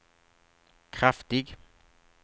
kraftig